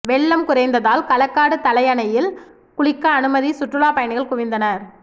வெள்ளம் குறைந்ததால் களக்காடு தலையணையில் குளிக்க அனுமதி சுற்றுலா பயணிகள் குவிந்தனர்